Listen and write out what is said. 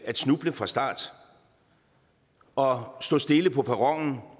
at snuble fra start og stå stille på perronen